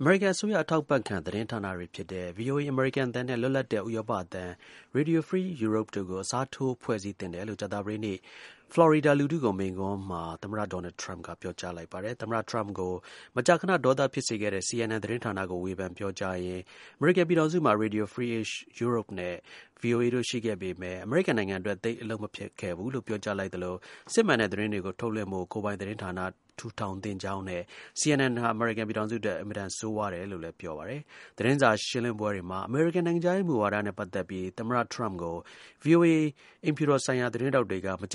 အမေရိကန် အစိုးရ အထောက်အပံ့ခံ သတင်းဌာနတွေ ဖြစ်ကြတဲ့ VOA အမေရိကန်အသံနဲ့ လွတ်လပ်တဲ့ ဥရောပအသံ Radio Free Europe တို့ကို အစားထိုးဖွဲ့စည်းသင့်တယ်လို့ ကြာသပတေးနေ့ ဖလော်ရီဒါလူထုကို မိန့်ခွန်းမှာ သမ္မတ Donald Trump ကပြောကြားလိုက်ပါတယ်။ သမ္မတ Trump ကို မကြာခဏ ဒေါသဖြစ်စေခဲ့တဲ့ CNN သတင်းဌာနကို ဝေဖန်ပြောကြားရင်း အမေရိကန်ပြည်ထောင်စုမှာ Radio Free Europe နဲ့ VOA တို့ ရှိခဲ့ပေမယ့် အမေရိကန်နိုင်ငံအတွက် သိပ်အလုပ်မဖြစ်ခဲ့ဘူးလို့ ပြောကြားလိုက်သလို စစ်မှန်တဲ့ သတင်းတွေကို ထုတ်လွှင့်ဖို့ ကိုယ်ပိုင်သတင်းဌာန ထူထောင်သင့်ကြောင်းနဲ့ CNN ဟာ အမေရိကန်ပြည်ထောင်စု အတွက် အင်မတန် ဆိုးဝါးတယ် လို့လည်း ပြောပါတယ်။ VOA အိမ်ဖြူတော် ဆိုင်ရာ သတင်းထောက်တွေက သတင်းစာ ရှင်းလင်းပွဲမှာ အမေရိကန် နိုင်ငံခြားရေး ဝါဒနဲ့ ပတ်သက်ပြီး သမ္မတ Trump ကို မ